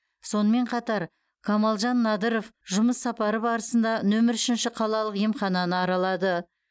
сонымен қатар қамалжан надыров жұмыс сапары барысында нөмір үшінші қалалық емхананы аралады